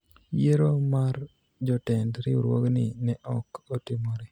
yiero mar jotend riwruogni ne ok otimore